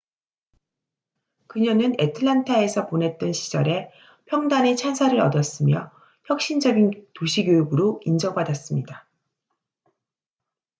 그녀는 애틀랜타에서 보냈던 시절에 평단의 찬사를 얻었으며 혁신적인 도시 교육으로 인정받았습니다